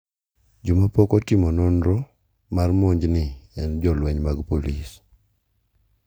jo ma pok otimo nonro mar monj ni en jolweny mag polis